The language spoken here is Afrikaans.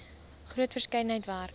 groot verskeidenheid werk